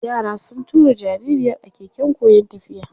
Yara sun tura jaririyar a keken koyon tafiya.